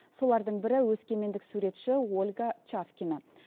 солардың бірі өскемендік суретші ольга чавкина